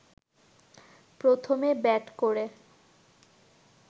প্রথমে ব্যাট করে